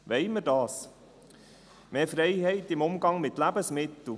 Wollen wir dies: Mehr Freiheit im Umgang mit Lebensmitteln?